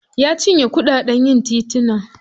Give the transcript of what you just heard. Ya cinye kuɗaɗen yin tituna.